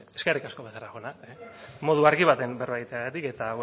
eskerrik asko becerra jauna modu argi batean berba egiteagatik eta